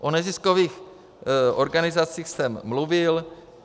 O neziskových organizacích jsem mluvil.